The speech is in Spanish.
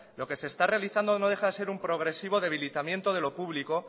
lo que se está realizando no deja de ser un progresivo debilitamiento de lo público